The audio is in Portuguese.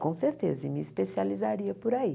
Com certeza, e me especializaria por aí.